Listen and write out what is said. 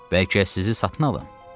Bəlkə sizi satın alım?